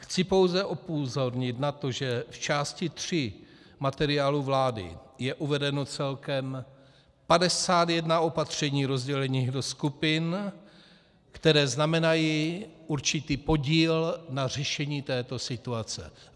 Chci pouze upozornit na to, že v části 3 materiálu vlády je uvedeno celkem 51 opatření rozdělených do skupin, které znamenají určitý podíl na řešení této situace.